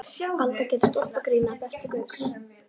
Alda gerir stólpagrín að Bertu Gauks.